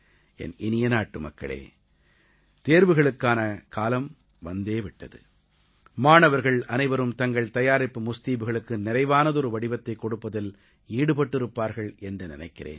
என் இனிய நாட்டுமக்களே தேர்வுகளுக்கான காலம் வந்தே விட்டது மாணவர்கள் அனைவரும் தங்கள் தயாரிப்பு முஸ்தீபுகளுக்கு நிறைவானதொரு வடிவத்தைக் கொடுப்பதில் ஈடுபட்டிருப்பார்கள் என்று நினைக்கிறேன்